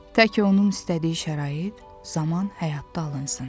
Tək onun istədiyi şərait, zaman həyatda alınsın.